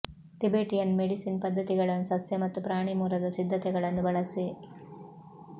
Tibetan medicine ಪದ್ಧತಿಗಳನ್ನು ಸಸ್ಯ ಮತ್ತು ಪ್ರಾಣಿ ಮೂಲದ ಸಿದ್ಧತೆಗಳನ್ನು ಬಳಸಿ